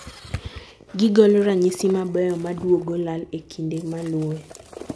gigolo ranyisi mabeyo maduogo lal e kinde malue